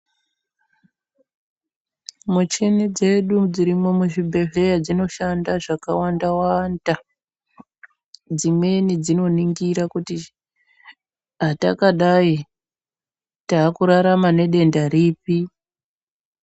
Muchini dzedu dzirimwo muzvibhedhleya dzinoshanda zvakawanda-wanda. Dzimweni dzinoningira kuti hatakadai taakurarama nedenda ripi.